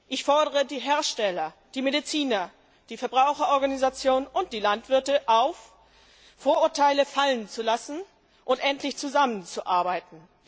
Ich fordere die Hersteller, die Mediziner, die Verbraucherorganisationen und die Landwirte auf, Vorurteile fallen zu lassen und endlich zusammenzuarbeiten!